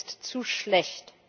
er ist zu schlecht.